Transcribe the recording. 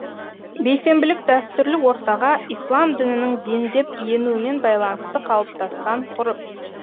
бейсенбілік дәстүрлі ортаға ислам дінінің дендеп енуімен байланысты қалыптасқан ғұрып